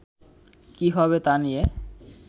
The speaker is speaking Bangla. কী হবে তা নিয়ে